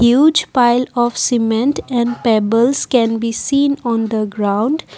Huge pile of cement and pebbles can be seen on the ground.